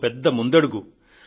ఇదో పెద్ద ముందంజ